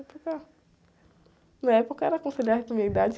Na época, na época era aconselhado para a minha idade.